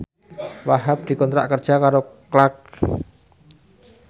Wahhab dikontrak kerja karo Clarks